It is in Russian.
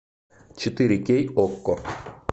четыре кей окко